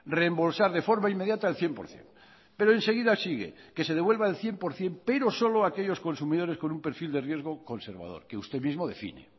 rembolsar de forma inmediata el cien por ciento pero enseguida sigue que se devuelva el cien por ciento pero solo a aquellos consumidores con un perfil de riesgo conservador que usted mismo define